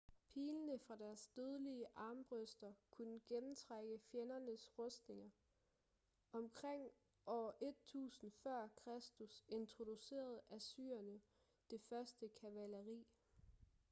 pilene fra deres dødelige armbrøster kunne gennemtrænge fjendernes rustninger omkring år 1.000 f.kr introducerede assyrerne det første kavaleri